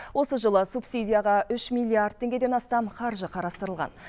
осы жылы субсидияға үш миллиард теңгеден астам қаржы қарастырылған